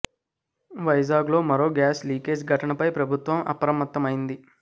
వైజాగ్ లో మరో gas leakage ఘటన పై ప్రభుత్వం అప్రమత్తమైంది